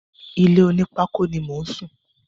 Ilé onípákó ni mò ń sùn.